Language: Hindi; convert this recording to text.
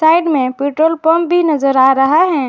साइड में पेट्रोल पंप भी नजर आ रहा है।